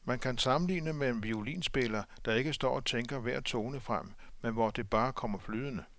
Man kan sammenligne med en violinspiller, der ikke står og tænker hver tone frem, men hvor det bare kommer flydende.